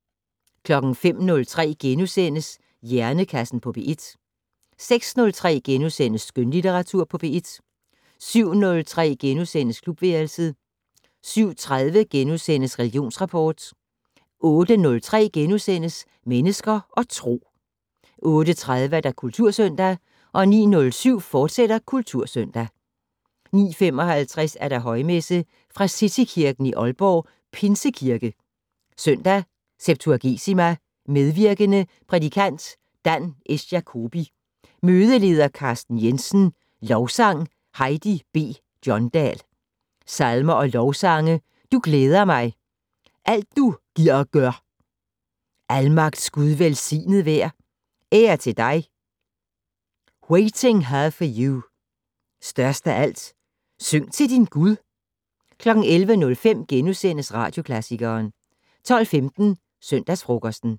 05:03: Hjernekassen på P1 * 06:03: Skønlitteratur på P1 * 07:03: Klubværelset * 07:30: Religionsrapport * 08:03: Mennesker og Tro * 08:30: Kultursøndag 09:07: Kultursøndag, fortsat 09:55: Højmesse - Fra Citykirken i Aalborg, Pinsekirke. Søndag septuagesima. Medvirkende: Prædikant: Dan S. Jacobi. Mødeleder: Carsten Jensen. Lovsang: Heidi B. Johndal. Salmer og lovsange: "Du glæder mig". "Alt du gir og gør". "Almagts Gud velsignet vær". "Ære til dig". "Waiting her for you". "Størst af alt". "Syng til din Gud". 11:05: Radioklassikeren * 12:15: Søndagsfrokosten